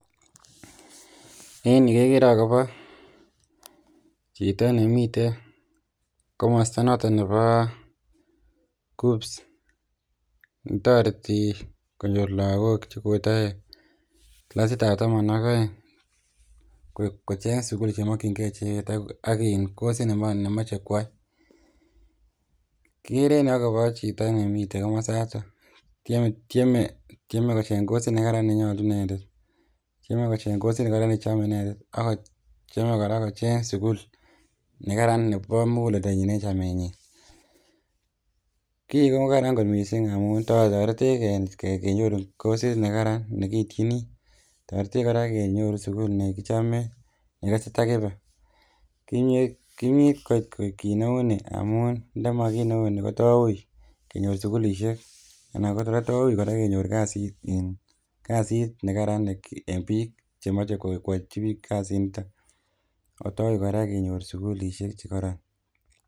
En Yuu kegere agobo chitoo nemiten komosta noton nebo Kenya universities colleges and central placement taretii konyoor lagook che kotare classic ab taman ak aeng kocheeng sugul che makyingei ichegeet sugul memachei ak coursit neimachei koyai kigere en ko chitoo nemiten komasaatoon tyeme kocheeng coursiit ne kararan ne nyoljiin inendet ,tyeme kocheeng coursiit ne chame inendet ago tyeme kocheeng sugul ne Karan nebo muguledanyiin en chamenyiin kiit ko karaan missing amuun tareteech kenyoruun coursiit ne karaan nekiityini tareteech kora kenyoruun sugul nekichame nekikasei takibei kimyeit koit kiit ne uu nii ndamuun nda mamii kit ne uu ni ko though wui kenyoor sugulisheek anan kora though wui kenyoor kasiit ne kararan che machei koyachii biik kasiit nitoon akoot kora ko wui kenyoor sugulisheek che kororon.